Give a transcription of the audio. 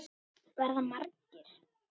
Verða margir?